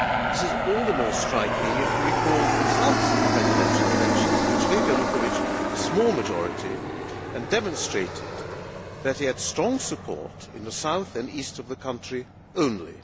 This is all the more striking if we recall the results of the presidential elections which gave Yanukovych a small majority and demonstrated that he had strong support in the south and east of the country only.